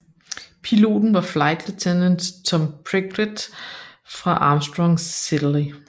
Piloten var Flight Lieutenant Tom Prickett fra Armstrong Siddeley